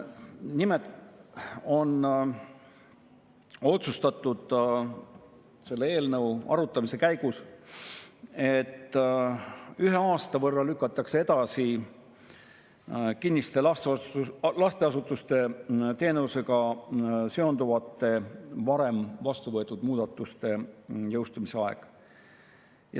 Nimelt on otsustatud selle eelnõu arutamise käigus, et ühe aasta võrra lükatakse edasi kinniste lasteasutuste teenusega seonduvate varem vastu võetud muudatuste jõustumise aeg.